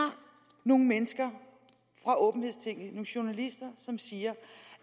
nogle mennesker fra åbenhedstinget nogle journalister som siger